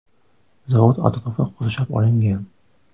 Zavod atrofi qurshab olingan.